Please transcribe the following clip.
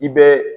I bɛ